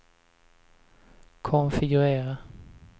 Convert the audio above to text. konfigurera